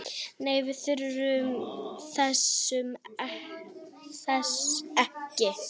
Nei, við þurfum þess ekki.